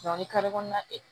ni kalo kɔnɔna tɛ